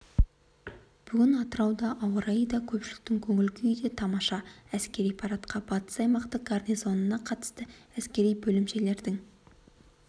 бүгін атырауда ауа-райы да көпшіліктің көңіл-күйі де тамаша әскери парадқа батыс аймақтық гарнизонына қарасты әскери бөлімшелердің